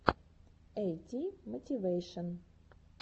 эйти мотивэйшен